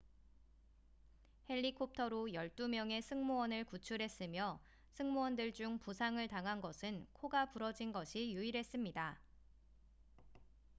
헬리콥터로 12명의 승무원을 구출했으며 승무원들 중 부상을 당한 것은 코가 부러진 것이 유일했습니다